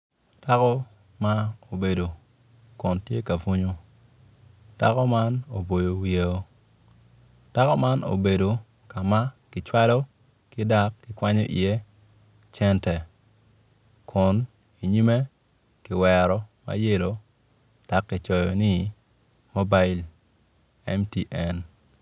Dako ma obedo kon tye ka bunyo dako man oboyo wiyeo dako man obedo ka kicwalo dak ki kwanyo iye cente kun inyimme kiwero ma yelo dak ki coyo ni mubil MTN